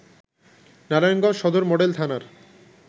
নারায়ণগঞ্জ সদর মডেল থানার